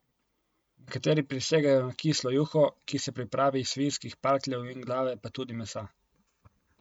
Nekateri prisegajo na kislo juho, ki se pripravi iz svinjskih parkljev in glave pa tudi mesa.